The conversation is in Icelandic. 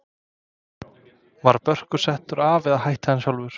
Var Börkur settur af eða hætti hann sjálfur?